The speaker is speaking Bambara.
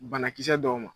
Banakisɛ dɔw ma